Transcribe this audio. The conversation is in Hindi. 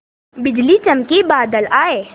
बिजली चमकी बादल आए